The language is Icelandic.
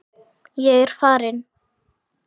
Ég er farinn.